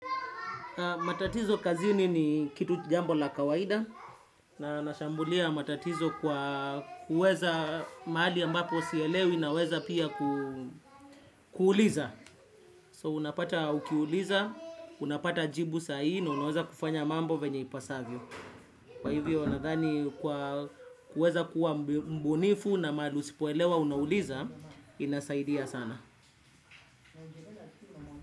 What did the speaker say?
Matatizo kazini ni kitu jambo la kawaida na nashambulia matatizo kwa kuweza mahali ambapo sielewi naweza pia kuuliza. So unapata ukiuliza, unapata jibu sahii, na unaweza kufanya mambo venye ipasavyo. Kwa hivyo unadhani kwa kuweza kuwa mbunifu na mahali usipoelewa unauliza, inasaidia sana.